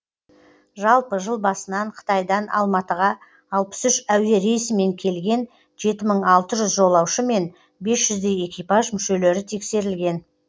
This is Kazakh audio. жалпы жыл басынан қытайдан алматыға алпыс үш әуе рейсімен келген жеті мың алты жүз жолаушы мен бес жүздей экипаж мүшелері тексерілген